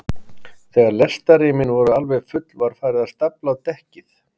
Þegar lestarrýmin voru alveg full var farið að stafla á dekkið.